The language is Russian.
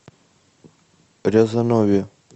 рязанове